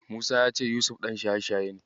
Musa ya ce Yusuf ɗan shaye-shaye ne.